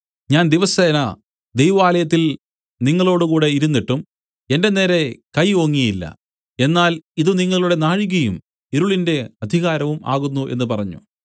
ഞാൻ ദിവസേന ദൈവാലയത്തിൽ നിങ്ങളോടുകൂടെ ഇരുന്നിട്ടും എന്റെ നേരെ കൈ ഓങ്ങിയില്ല എന്നാൽ ഇതു നിങ്ങളുടെ നാഴികയും ഇരുളിന്റെ അധികാരവും ആകുന്നു എന്നു പറഞ്ഞു